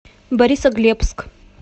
борисоглебск